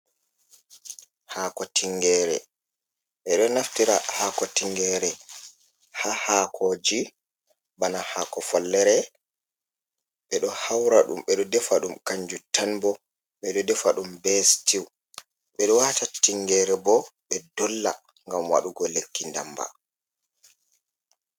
Haako Tingere: Ɓeɗo naftira haako tingere ha haakoji bana haako follere. Ɓedo haura ɗum, ɓeɗo defa ɗum kanjum tan bo, ɓeɗo defa ɗum be stiw, ɓeɗo wata tingere bo ɓe dolla ngam waɗugo lekki damba.